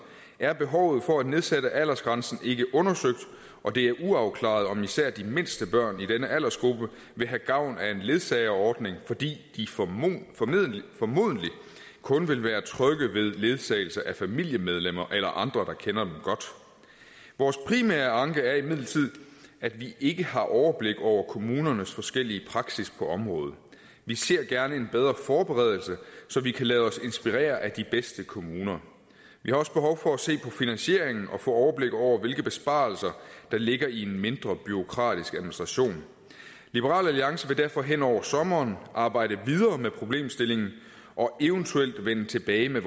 er behovet for at nedsætte aldersgrænsen ikke undersøgt og det er uafklaret om især de mindste børn i denne aldersgruppe vil have gavn af en ledsageordning fordi de formodentlig kun vil være trygge ved ledsagelse af familiemedlemmer eller andre der kender dem godt vores primære anke er imidlertid at vi ikke har overblik over kommunernes forskellige praksis på området vi ser gerne en bedre forberedelse så vi kan lade os inspirere af de bedste kommuner vi har også behov for at se på finansieringen og få overblik over hvilke besparelser der ligger i en mindre bureaukratisk administration liberal alliance vil derfor hen over sommeren arbejde videre med problemstillingen og eventuelt vende tilbage med